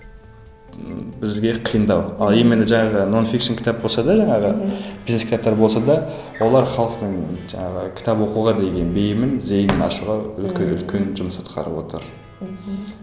ммм бізге қиындау ал именно жаңағы кітап болса да жаңағы бизнес кітаптар болса да олар халықтың жаңағы кітап оқуға деген бейімін зейінін ашуға өте үлкен жұмыс атқарып отыр мхм